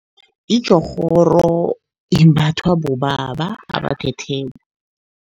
Itjorhoro imbathwa bobaba abathetheko.